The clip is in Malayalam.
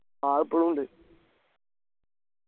ആ ഇപ്പോളുണ്ട്